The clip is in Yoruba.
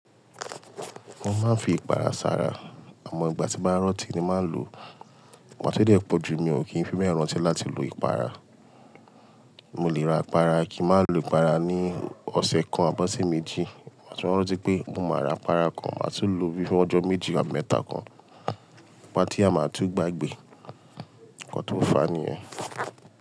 Mo máa ń fi ìpara sára, àmọ ìgbà tí bá rọ̀tí ni máa ń lo. Ìgbà ti o dé pọ̀ jù mi ò kí ń fi bẹ́ rántí láti lo ìpara. Mo lè ra ìpara kí n má lo ìpara ní ọ̀sẹ̀ kan àbí ọ̀sẹ̀ méjì. Gba tí mo rántí pé mo máa ra apara kan máa tún lo fún ọjọ́ méjì àti mẹ́ta kan. Patí a máa tún gbàgbé. Ọ̀pọ̀ tó fà ní ẹ.